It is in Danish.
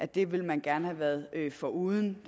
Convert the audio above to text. det ville man gerne have været foruden